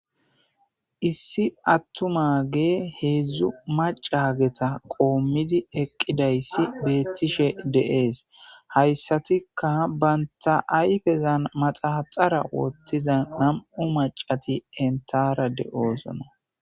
Issi attumage heedzdzu macaageta qoommidi eqqidayssi beettishe de'ees hayssatikka banta ayfezan maxaxara woottiza nam7u macati entara de'oosona.